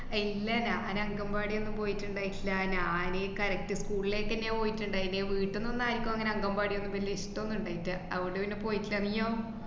ഏർ ഇല്ല ഞാൻ അന് അംഗൻവാടി ഒന്നും പോയിട്ട്ണ്ടായിട്ടില്ല. ഞാനീ correct school ലായിട്ടന്നയാ പോയിട്ട്ണ്ടായീന്. വീട്ടിന്നൊന്നും ആർക്കും അങ്ങനെ അംഗന്‍വാടിയൊന്നും വല്യ ഇഷ്ടോന്നും ഇണ്ടായിട്ടല്ല. അത് കൊണ്ട് പിന്നെ പോയിട്ടില്ല. നീയോ?